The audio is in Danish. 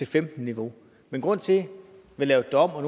femten niveau men grunden til at vi lavede det om og